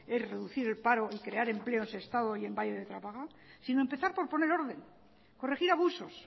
es reducir el paro y crear empleo en sestao y en valle de trápaga sino empezar por poner orden corregir abusos